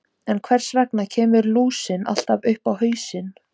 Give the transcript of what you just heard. En hvers vegna kemur lúsin alltaf upp á haustin?